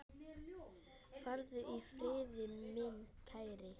Farðu í friði, minn kæri.